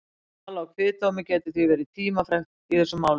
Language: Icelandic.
Val á kviðdómi getur því verið tímafrekt í þessum málum.